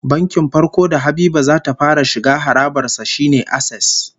Bankin farko da Habiba za ta fara shiga harabar sa shine Access